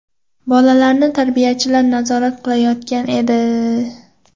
Bolalarni tarbiyachilar nazorat qilayotgan edi.